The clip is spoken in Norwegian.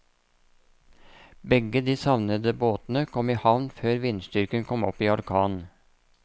Begge de savnede båtene kom i havn før vindstyrken kom opp i orkan.